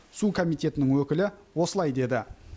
су комитетінің өкілі осылай деді